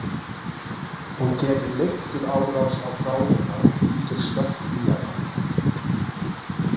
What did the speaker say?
Hún gerir leifturárás á bráðina og bítur snöggt í hana.